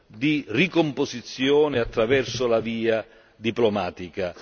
di ricomposizione attraverso la via diplomatica.